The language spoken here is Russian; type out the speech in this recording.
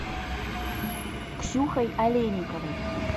ксюхой олейниковой